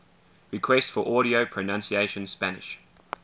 requests for audio pronunciation spanish